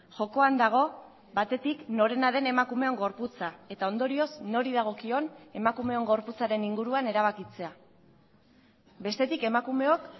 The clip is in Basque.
jokoan dago batetik norena den emakumeon gorputza eta ondorioz nori dagokion emakumeon gorputzaren inguruan erabakitzea bestetik emakumeok